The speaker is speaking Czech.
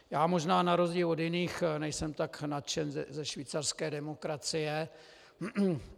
Já možná na rozdíl od jiných nejsem tak nadšen ze švýcarské demokracie.